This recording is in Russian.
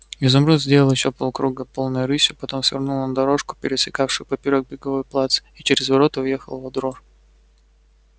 изумруд сделал ещё полкруга полной рысью потом свернул на дорожку пересекавшую поперёк беговой плац и через ворота въехал во двор